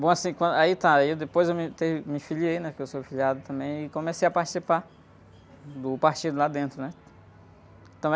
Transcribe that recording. Bom, assim, Quan, aí tá, aí depois eu entrei, me filiei, né, porque eu sou filiado também, e comecei a participar do partido lá dentro, né?